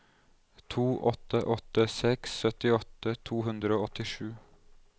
to åtte åtte seks syttiåtte to hundre og åttisju